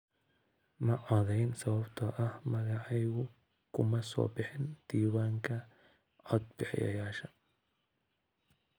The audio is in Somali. Ma codayn sababtoo ah magacaygu kuma soo bixin diiwaanka codbixiyayaasha.